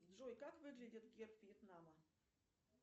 джой как выглядит герб вьетнама